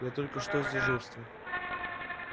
я только что с дежурства